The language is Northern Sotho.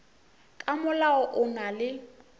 ka molao o na le